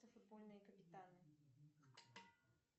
футбольные капитаны